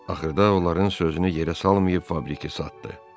Axırda onların sözünü yerə salmayıb fabriki satdı.